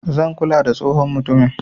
zan kula da tsohon mutumin.